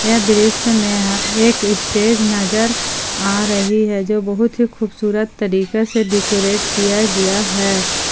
ये दृश्य में एक स्टेज नजर आ रही है जो बहुत ही खूबसूरत तरीके से डेकोरेट किया गया है।